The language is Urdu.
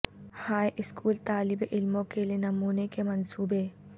ہائی اسکول کے طالب علموں کے لئے نمونے کے منصوبے